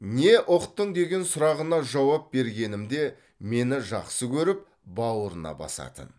не ұқтың деген сұрағына жауап бергенімде мені жақсы көріп бауырына басатын